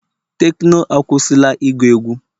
tekno akwụsịla ịgu egwu